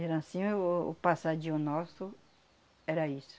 Era assim, o o passadinho nosso era isso.